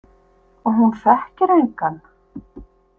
Og hún þekkir engan?